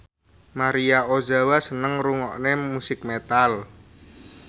Maria Ozawa seneng ngrungokne musik metal